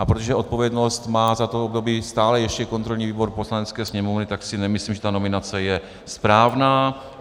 A protože odpovědnost má za to období stále ještě kontrolní výbor Poslanecké sněmovny, tak si nemyslím, že ta nominace je správná.